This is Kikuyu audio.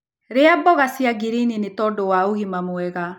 Rĩa mboga cia ngirini nĩtondũ wa ũgima mwega